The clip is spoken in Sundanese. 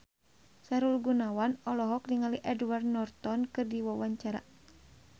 Sahrul Gunawan olohok ningali Edward Norton keur diwawancara